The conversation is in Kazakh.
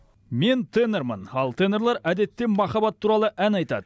мен тенормын ал тенорлар әдетте махаббат туралы ән айтады